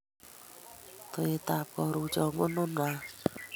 Towet ab karuchan ko nono any